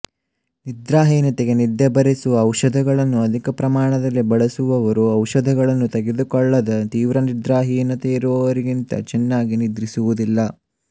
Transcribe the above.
ನಿದ್ರಾಹೀನತೆಗೆ ನಿದ್ದೆ ಬರಿಸುವ ಔಷಧಗಳನ್ನು ಅಧಿಕ ಪ್ರಮಾಣದಲ್ಲಿ ಬಳಸುವವರು ಔಷಧಗಳನ್ನು ತೆಗೆದುಕೊಳ್ಳದ ತೀವ್ರ ನಿದ್ರಾಹೀನತೆ ಇರುವವರಿಗಿಂತ ಚೆನ್ನಾಗಿ ನಿದ್ರಿಸುವುದಿಲ್ಲ